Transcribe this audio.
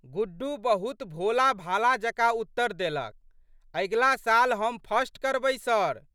गुड्डू बहुत भोलाभाला जकाँ उत्तर देलक, अगिला साल हम फर्स्ट करबै सर!